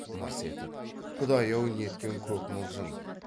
мырс етіп құдай ау неткен көк мылжың